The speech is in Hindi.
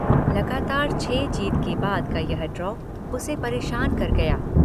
लगातार छह जीत के बाद का यह ड्रॉ उसे परेशान कर गया।